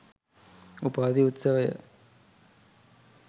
උපාධි උත්සවය